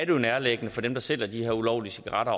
jo nærliggende for dem der sælger de her ulovlige cigaretter